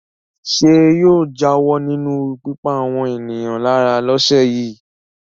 Ṣé yóò jáwọ́ nínú pípa àwọn ènìyàn lára lọ́sẹ̀ yìí?